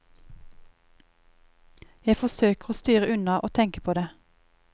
Jeg forsøker å styre unna å tenke på det.